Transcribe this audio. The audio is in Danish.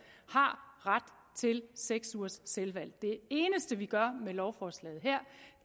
ret til seks ugers selvvalgt uddannelse det eneste vi gør med lovforslaget her